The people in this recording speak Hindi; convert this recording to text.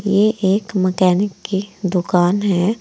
ये एक मैकेनिक की दुकान है।